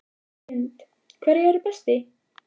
Hrund: Hverju eruð þið best í?